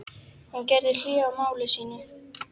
Hún gerði hlé á máli sínu.